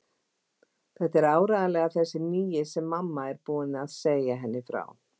Þetta er áreiðanlega þessi nýi sem mamma er búin að segja henni frá.